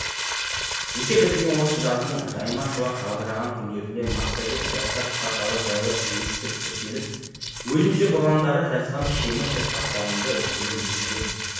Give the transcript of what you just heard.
мектеп бітірген осы жаздың жайма шуақ жадыраған күндерінде массагет жастар порталы жайлы естіп тіркеліп өзімше бұрындары жазған шимай шатпақтарымды осында енгізіп едім